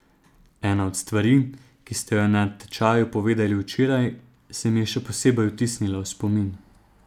Ena od stvari, ki ste jo na tečaju povedali včeraj, se mi je še posebej vtisnila v spomin.